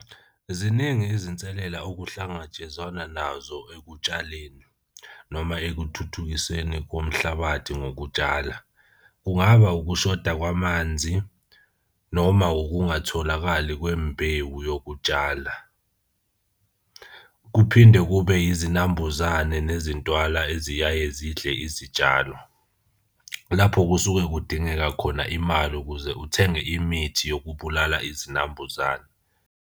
Ziningi izinselela ukuhlangatshezwana nazo ekutshaleni noma ekuthuthukiseni komhlabathi ngokutshala. Kungaba ukushoda kwamanzi noma ukungatholakali kwembewu yokutshala. Kuphinde kube izinambuzane nezintwala eziyaye zidle izitshalo. Lapho kusuke kudingeka khona imali ukuze uthenge imithi yokubulala izinambuzane.